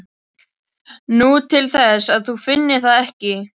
Nú, til þess að þú finnir það ekki.